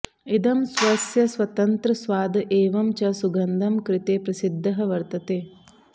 इदं स्वस्य स्वतन्त्र स्वाद एवं च सुगन्धं कृते प्रसिद्धः वर्त्तते